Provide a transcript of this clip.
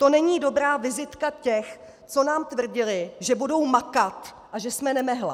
To není dobrá vizitka těch, co nám tvrdili, že budou makat a že jsme nemehla.